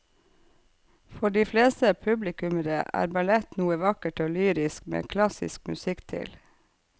For de fleste publikummere er ballett noe vakkert og lyrisk med klassisk musikk til.